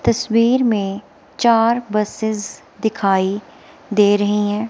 तस्वीर में चार बसेस दिखाई दे रही हैं।